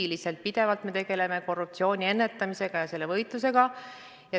Me ju pidevalt tegeleme korruptsiooni ennetamisega, selle vastu võitlemisega.